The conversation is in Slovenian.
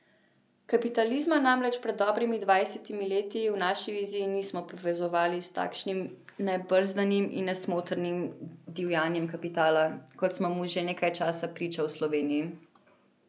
Kapitalizma namreč pred dobrimi dvajsetimi leti v naši viziji nismo povezovali s takšnim nebrzdanim in nesmotrnim divjanjem kapitala, kot smo mu že nekaj časa priča v Sloveniji.